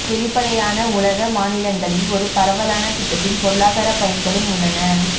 வெளிப்படையான உலக மாநிலங்களில் ஒரு பரவலான திட்டத்தின் பொருளாதார பயன்களும் உள்ளன